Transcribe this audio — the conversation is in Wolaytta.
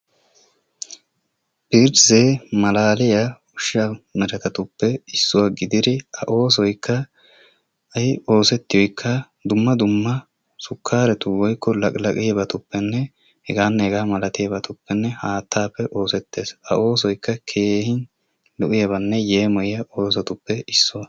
malaaliya ushshaa meretettuppe issuwaa gididi a oosoykka i oosetiyooykka dumma dumma sukaaretu woykko laqqilaqqiyaabatuppenne heganne hegaa malatiyaabatuppenne haattappe oosetees. a oosoykka keehin lo''iyaabanne yemmoyiyya oosotuppe issuwaa.